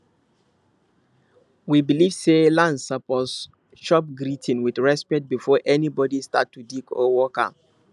we believe say land suppose chop greeting with respect before anybody start to dig or work am